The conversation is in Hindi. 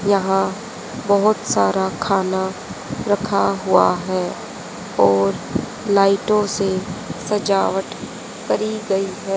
यहां बहोत सारा खाना रखा हुआ है और लाइटो से सजावट करी गई है।